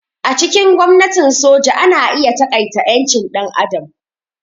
A cikin gwamnatin soja ana iya taƙaita ƴancin ɗan adam.